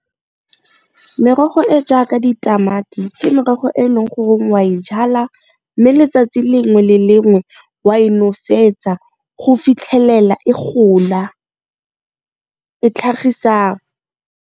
Merogo e jaaka ditamati ke merogo e leng goreng wa e jala mme letsatsi lengwe le lengwe wa e nosetsa go fitlhelela e gola e tlhagisa.